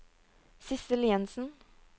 Sissel Jenssen